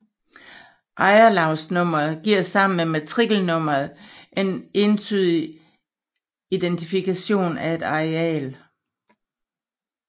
Ejerlavsnummeret giver sammen med matrikelnummeret en entydig identifikationen af et areal